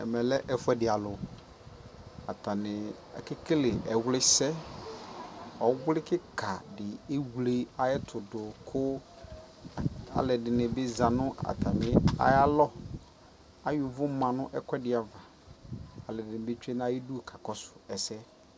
ɛmɛ lɛ ɛƒʋɛdi alʋ, atani akɛ kɛlɛ ɛwli sɛ, ɔwli kikaa di ɛwlɛ ayɛtʋ dʋ kʋ alʋɛdini zanʋ ayialɔ, ayɔ ʋvʋ manʋ ɛkʋɛdi aɣa, alʋɛdini twɛnʋ ayidʋ ka kakɔsʋ ɛsɛ